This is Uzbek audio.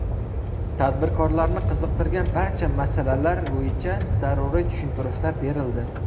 Tadbirkorlarni qiziqtirgan barcha masalalar bo‘yicha zaruriy tushuntirishlar berildi.